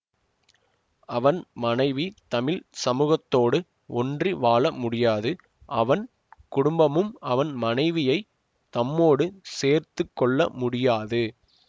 அவன் மனைவி தமிழ் சமூகத்தோடு ஒன்றி வாழ முடியாது அவன் குடும்பமும் அவன் மனைவியை தம்மோடு சேர்த்து கொள்ள முடியாது